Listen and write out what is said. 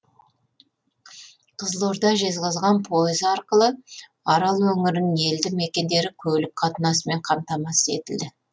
қызылорда жезқазған пойызы арқылы арал өңірінің елді мекендері көлік қатынасымен қамтамасыз етілді